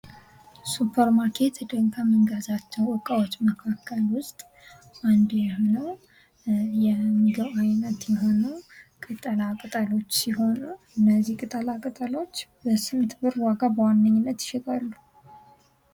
ሱፐር ማርኬት ሄደን ከምንገዛቸው እቃዎች መካከል ውስጥ አንዱ የሆነው የምግብ ዓይነት የሆነው ቅጠላ ቅጠሎች ሲሆኑ፤ እነዚህ ቅጠላ ቅጠሎች በስንት ብር ዋጋ በዋነኛነት ይሸጣሉ።